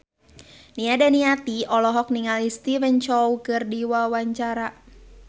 Nia Daniati olohok ningali Stephen Chow keur diwawancara